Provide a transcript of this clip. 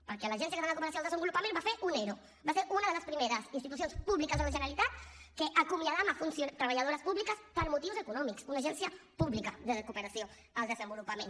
perquè l’agència catalana de cooperació al desenvolupament va fer un ero va ser una de les primeres institucions públiques de la generalitat que acomiadava treballadores públiques per motius econòmics una agència pública de cooperació al desenvolupament